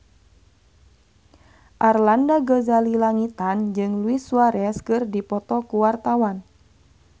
Arlanda Ghazali Langitan jeung Luis Suarez keur dipoto ku wartawan